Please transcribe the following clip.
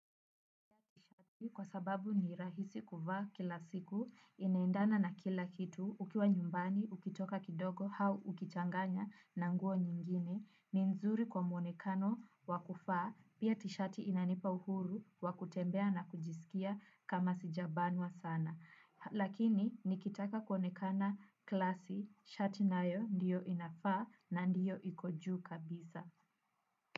Kwa sababu ni rahisi kuvaa kila siku, inaendana na kila kitu, ukiwa nyumbani, ukitoka kidogo, hau ukichanganya na nguo nyingine, ni nzuri kwa mwonekano wakufaa, pia tishati inanipa uhuru, wa kutembea na kujisikia kama sijabanwa sana. Lakini, nikitaka kuonekana klasi, shati nayo ndiyo inafaa na ndiyo iko juu kabisa.